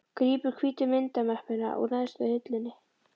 Grípur hvítu myndamöppuna úr neðstu hillunni.